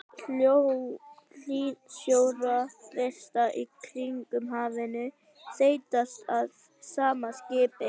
Hlýsjórinn vestast í Kyrrahafinu þynnist að sama skapi.